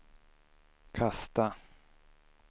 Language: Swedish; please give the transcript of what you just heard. kasta